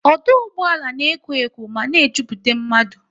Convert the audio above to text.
Ọdụ ụgbọala na ekwo ekwo mana e jupụta n'mmadu